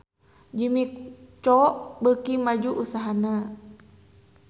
Jimmy Coo beuki maju usahana